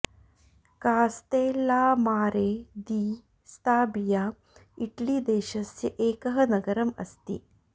Castellammare di Stabia Italy देशस्य एकः नगरं अस्ति